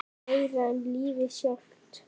Meira en lífið sjálft.